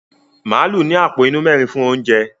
Màálù ní àpò inú mẹ́rin fún oúnjẹ.